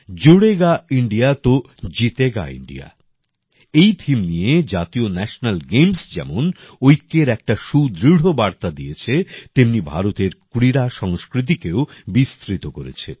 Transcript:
জুড়েগা India তো জিতেগা India এই থিম নিয়ে জাতীয় ন্যাশেনাল গেমস যেমন ঐক্যের একটা সুদৃঢ় বার্তা দিয়েছে তেমনি ভারতের ক্রীড়া সংস্কৃতিকেও বিস্তৃত করেছে